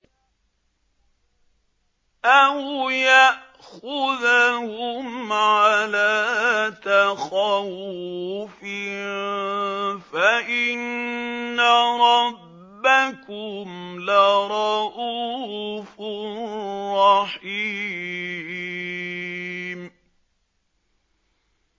أَوْ يَأْخُذَهُمْ عَلَىٰ تَخَوُّفٍ فَإِنَّ رَبَّكُمْ لَرَءُوفٌ رَّحِيمٌ